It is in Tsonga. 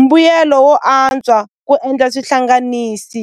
mbuyelo wo antswa ku endla swihlanganisi.